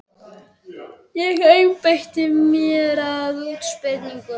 Ég einbeiti mér að útsprunginni rós.